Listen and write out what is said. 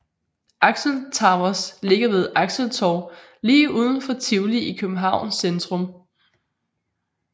Axel Towers ligger ved Axeltorv lige overfor Tivoli i Københavns centrum